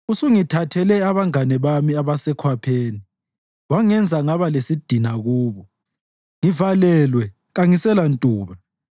Usungithathele abangane bami abasekhwapheni wangenza ngaba lesidina kubo. Ngivalelwe kangiselantuba;